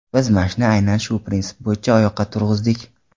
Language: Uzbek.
Biz Mash’ni aynan shu prinsip bo‘yicha oyoqqa turg‘izdik.